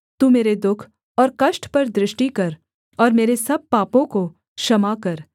तू मेरे दुःख और कष्ट पर दृष्टि कर और मेरे सब पापों को क्षमा कर